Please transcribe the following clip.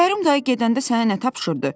Kərim dayı gedəndə sənə nə tapşırdı?